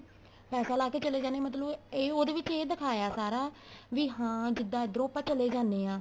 ਪੈਸਾ ਲਾ ਕੇ ਚਲੇ ਜਾਨੇ ਏ ਮਤਲਬ ਇਹ ਉਹਦੇ ਵਿੱਚ ਇਹ ਦਿਖਾਇਆ ਸਾਰਾ ਵੀ ਹਾਂ ਜਿੱਦਾਂ ਇੱਧਰੋ ਆਪਾਂ ਚਲੇ ਜਾਨੇ ਆ